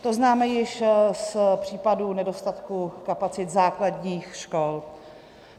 To známe již z případu nedostatku kapacit základních škol.